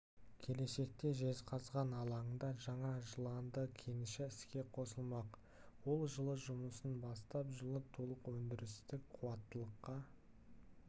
келешекте жезқазған алаңында жаңа жыланды кеніші іске қосылмақ ол жылы жұмысын бастап жылы толық өндірістік қуаттылыққа